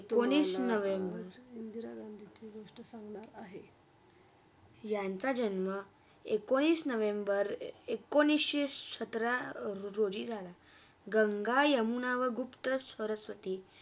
दोनीच November, Indira गांधीची गोष्टा सांगणार आहे यांचा जन्मा एकोणीस नोव्हेंबर अ एकोणीसशी सतरा रोजी झाला, गंगा, यमुना व गुप्त सरस्वती.